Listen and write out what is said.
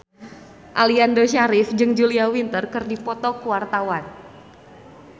Aliando Syarif jeung Julia Winter keur dipoto ku wartawan